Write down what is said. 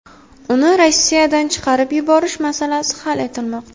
Uni Rossiyadan chiqarib yuborish masalasi hal etilmoqda.